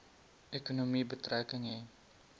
ekonomie betrekking hê